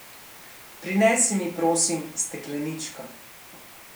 Prinesi mi, prosim, stekleničko.